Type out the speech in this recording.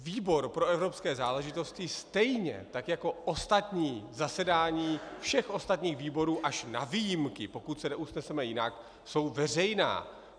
Výbor pro evropské záležitosti stejně tak jako ostatní zasedání všech ostatních výborů až na výjimky, pokud se neusneseme jinak, jsou veřejná.